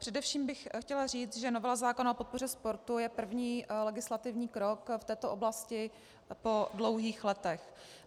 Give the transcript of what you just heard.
Především bych chtěla říci, že novela zákona o podpoře sportu je první legislativní krok v této oblasti po dlouhých letech.